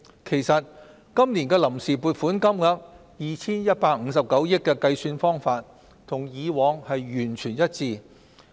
其實，今年的臨時撥款金額 2,159 億元的計算方法，與過往完全一致。